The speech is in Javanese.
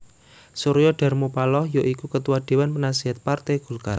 Surya Dharma Paloh ya iku Ketua Déwan Penaséhat Parté Golkar